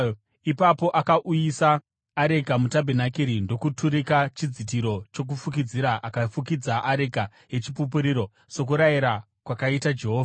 Ipapo akauyisa areka mutabhenakeri ndokuturika chidzitiro chokufukidzira akafukidza areka yeChipupuriro, sokurayira kwakaita Jehovha.